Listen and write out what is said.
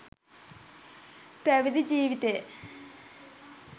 පැවිදි ජීවිතය